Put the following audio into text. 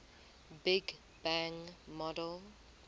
big bang model